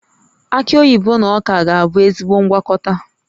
Aki oyibo na ọka ga-abụ ezigbo ngwakọta